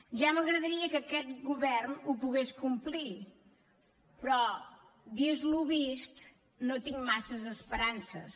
ja m’agradaria que aquest govern ho pogués complir però vist el vist no en tinc massa esperances